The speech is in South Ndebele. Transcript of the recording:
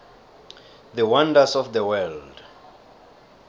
the wonders of the world